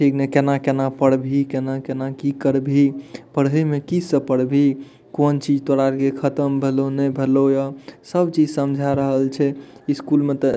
इमे केना-केना पढ़भी की केना-केना की कर भी पढ़े में की सब पढ़ भी कोन चीज तोरा लिए खत्म भैलो ने भेलो ये सब चीज समझा रहल छै स्कूल मे ते --